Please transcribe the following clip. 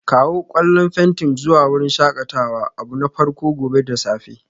Kawo ƙwallan fenti zuwa wurin shakatawa abu na farko gobe da safe